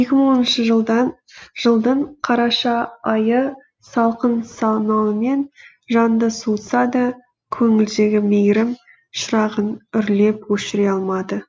екі мың оныншы жылдың қараша айы салқын самалымен жанды суытса да көңілдегі мейірім шырағын үрлеп өшіре алмады